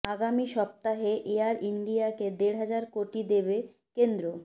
আগামী সপ্তাহে এয়ার ইন্ডিয়াকে দেড় হাজার কোটি দেবে কেন্দ্র